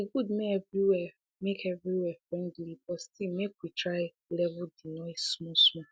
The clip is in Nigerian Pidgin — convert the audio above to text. e good make everywhere make everywhere friendly but still make we try level de noise smallsmall